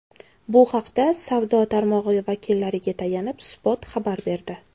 Bu haqda savdo tarmog‘i vakillariga tayanib, Spot xabar berdi .